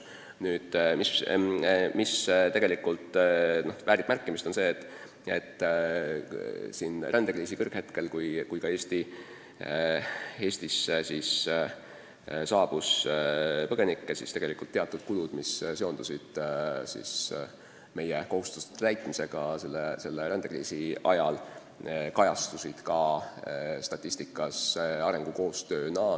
Nüüd, märkimist väärib see, et rändekriisi kõrghetkel, kui ka Eestisse saabus põgenikke, kajastusid teatud kulud, mis seondusid meie kohustuste täitmisega rändekriisi ajal, statistikas arengukoostöö kuludena.